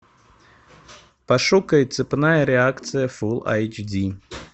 пошукай цепная реакция фул айч ди